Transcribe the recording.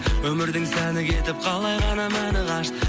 өмірдің сәні кетіп қалай ғана мәні қашты